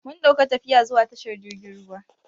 Mun dauka tafiya zuwa tashar jirgin ruwa.